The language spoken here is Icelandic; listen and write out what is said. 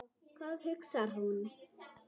Hvað hugsar þú?